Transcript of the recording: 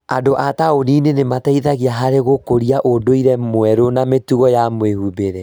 Andũ a taũni-inĩ nĩ mateithagia harĩ gũkũria ũndũire mwerũ na mĩtugo ya mwĩhumbĩre.